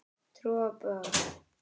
Trúboð, er það rétt hugtak?